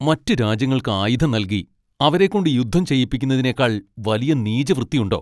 മറ്റ് രാജ്യങ്ങൾക്ക് ആയുധം നൽകി അവരെക്കൊണ്ട് യുദ്ധം ചെയ്യിപ്പിക്കുന്നതിനേക്കാൾ വലിയ നീചവൃത്തിയുണ്ടോ?